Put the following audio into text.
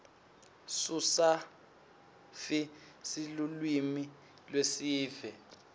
sususafi silulwimi lweesive